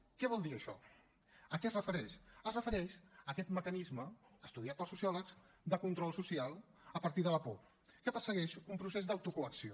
què vol dir això a què es refereix es refereix a aquest mecanisme estudiat pels sociòlegs de control social a partir de la por que persegueix un procés d’autocoacció